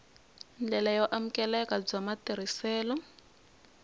ndlela yo amukeleka bya matirhiselo